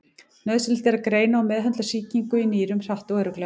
Nauðsynlegt er að greina og meðhöndla sýkingu í nýrum hratt og örugglega.